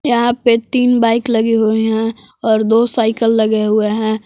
यहां पे तीन बाइक लगे हुए हैं और दो साइकिल लगे हुए हैं।